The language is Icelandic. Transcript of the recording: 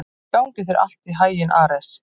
Gangi þér allt í haginn, Ares.